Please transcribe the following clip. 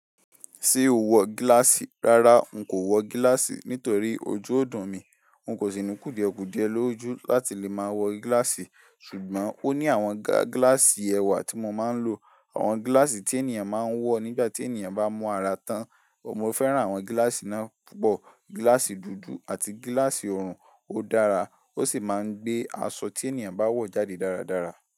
Ṣé o wọ gíláàsì? Rárá n ko wọ gilaasi nítorí ojú o dun mi N kò sì ní kùdìẹ̀kùdìẹ lójú láti lè máa wọ gláàsì. Ṣùgbọ́n ó ní àwọn gla gláàsì ẹwà tí mo máa ń lò. Àwọn gláàsì tí ènìyàn máa ń wọ nígbà tí ènìyàn bá mú ara tán. Mo fẹ́ràn àwọn gláàsì náà púpọ̀. Gláàsì dúdú àti gláàsì òrùn ó dára, ó sì máa ń gbé aṣọ tí ènìyàn bá wọ̀ jáde dáradára.